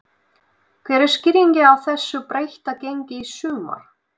Hver er skýringin á þessu breytta gengi í sumar?